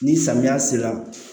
Ni samiya sera